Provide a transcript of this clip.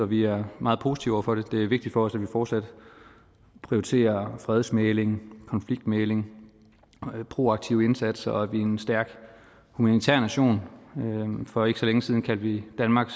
vi er meget positive over for det det er vigtigt for os at vi fortsat prioriterer fredsmægling konfliktmægling proaktive indsatser og at vi er en stærk humanitær nation for ikke så længe siden kaldte vi danmark